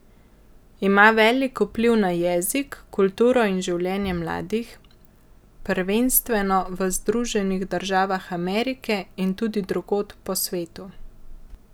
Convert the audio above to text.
Ima velik vpliv na jezik, kulturo in življenje mladih, prvenstveno v Združenih državah Amerike in tudi drugod po svetu.